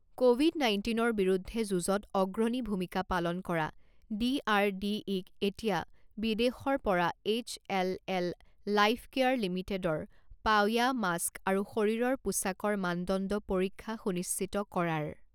Covid নাইণ্টিনৰ বিৰুদ্ধে যুঁজত অগ্ৰণী ভূমিকা পালন কৰা ডিআৰডিইক এতিয়া বিদেশৰ পৰা এইচ এল এল লাইফকেয়াৰ লিমিটেডৰ পাওয়া মাস্ক আৰু শৰীৰৰ পোচাকৰ মানদণ্ড পৰীক্ষা সুনিশ্চিত কৰাৰ